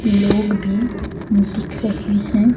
लोग भी दिख रहे हैं।